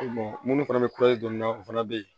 minnu fana bɛ dɔn na o fana bɛ yen